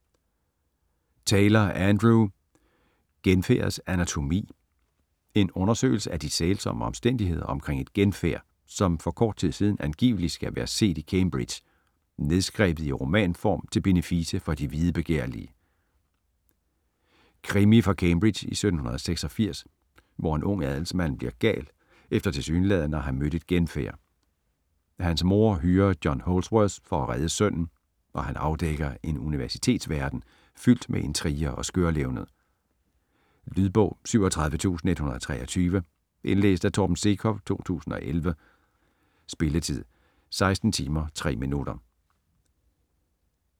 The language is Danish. Taylor, Andrew: Genfærdets anatomi: en undersøgelse af de sælsomme omstændigheder omkring et genfærd, som for kort tid siden angiveligt skal være set i Cambridge: nedskrevet i romanform til benefice for de videbegærlige Krimi fra Cambridge i 1786, hvor en ung adelsmand bliver gal efter tilsyneladende at have mødt et genfærd. Hans mor hyrer John Holdsworth til at redde sønnen, og han afdækker en universitetsverden fyldt med intriger og skørlevned. Lydbog 37123 Indlæst af Torben Sekov, 2011. Spilletid: 16 timer, 3 minutter.